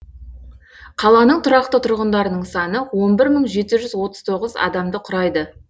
қаланың тұрақты тұрғындарының саныон бір мың жеті жүз отыз тоғыз адамды құрайды